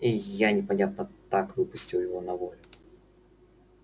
и я непонятно так выпустил его на волю